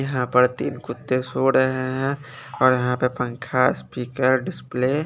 यहां पर तीन कुत्ते सो रहे हैं और यहां पे पंखा स्पीकर डिस्पले --